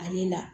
A ye la